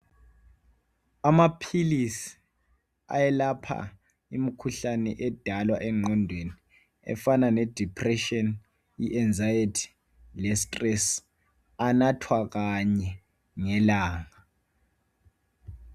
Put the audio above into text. Amaphilisi ayelapha imkhuhlane edalwa engqondweni efana ne depression I anxiety le stress anathwa kanye ngelanga